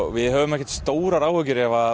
við höfum ekki stórar áhyggjur ef